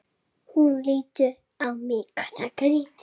Hún lítur á mig.